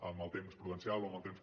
amb el temps prudencial o amb el temps